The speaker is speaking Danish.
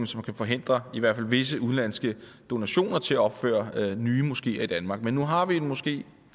som kan forhindre i hvert fald visse udenlandske donationer til at opføre nye moskeer i danmark men nu har vi en moské